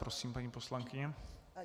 Prosím, paní poslankyně.